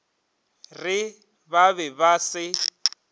re ba be ba se